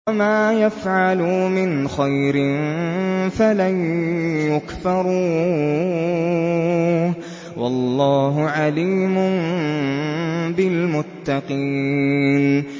وَمَا يَفْعَلُوا مِنْ خَيْرٍ فَلَن يُكْفَرُوهُ ۗ وَاللَّهُ عَلِيمٌ بِالْمُتَّقِينَ